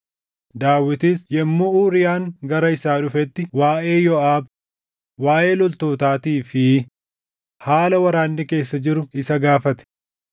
Daawitis yommuu Uuriyaan gara isaa dhufetti waaʼee Yooʼaab, waaʼee loltootaatii fi haala waraanni keessa jiru isa gaafate.